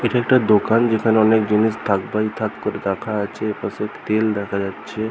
এখানকার দোকান যেখানে অনেক জিনিস থাক বাই থাক করে রাখা আছে পাশে তেল দেখা যাচ্ছে ।